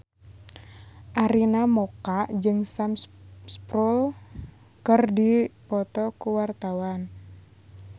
Arina Mocca jeung Sam Spruell keur dipoto ku wartawan